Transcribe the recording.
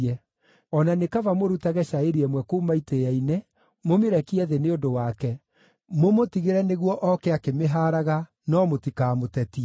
O na nĩ kaba mũrutage cairi ĩmwe kuuma itĩĩa-inĩ, mũmĩrekie thĩ nĩ ũndũ wake, mũmũtigĩre nĩguo oke akĩmĩhaaraga, no mũtikamũtetie.”